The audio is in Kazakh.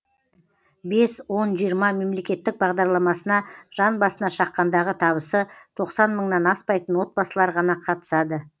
бес он жиырма мемлекеттік бағдарламасына жан басына шаққандағы табысы тоқсан мыңнан аспайтын отбасылар ғана қатысады